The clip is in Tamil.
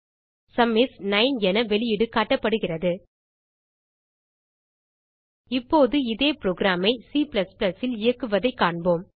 சும் இஸ் 9 என வெளியீடு காட்டப்படுகிறது இப்போது இதே புரோகிராம் ஐ C ல் இயக்குவதைக் காண்போம்